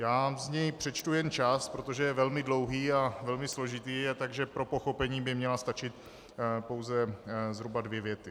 Já z něj přečtu jen část, protože je velmi dlouhý a velmi složitý, takže pro pochopení by měly stačit pouze zhruba dvě věty.